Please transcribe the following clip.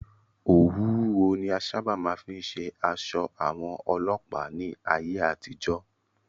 Òwú wúwo ni a sáábà máa fí ń ṣe aṣọ àwọn Ọlọ́pàá ní ayé àtijọ́.